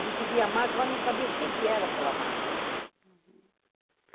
A gente via a marca, mas não sabia o que era aquela marca.